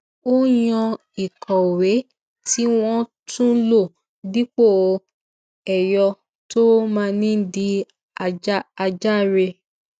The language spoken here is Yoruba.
ó yàn ìkòwé tí wón tún lò dípò ẹyọ tó máa ń di àjàre